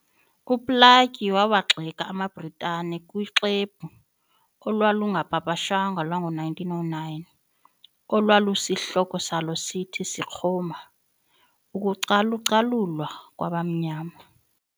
UPlaatje waawagxeka amaBritane kuxwebhu olwalungapapashwanga lwango-1909, olwalusihloko salo sithi,"Sekgoma - Ukucalucalulwa kwabamnyama."